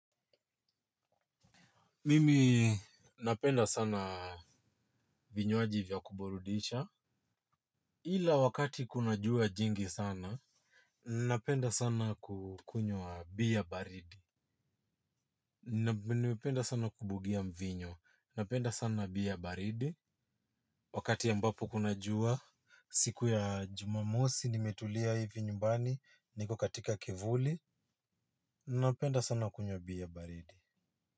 Mimi napenda sana vinywaji vya kuburudisha. Ila wakati kuna jua jingi sana, napenda sana kukunywa beer baridi. Napenda sana kubugia mvinyo, napenda sana beer baridi. Wakati ambapo kuna jua, siku ya jumamosi nimetulia hivi nyumbani, niko katika kivuli, napenda sana kunywa beer baridi.